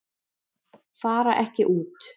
Fara ekki út